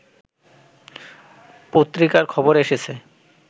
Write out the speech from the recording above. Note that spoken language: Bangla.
পত্রিকার খবরে এসেছে